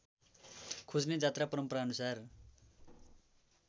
खोज्ने जात्रा परम्पराअनुसार